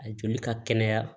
A joli ka kɛnɛya